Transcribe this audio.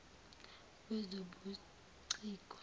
wezobuciko